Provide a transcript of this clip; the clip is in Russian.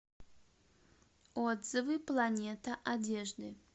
отзывы планета одежды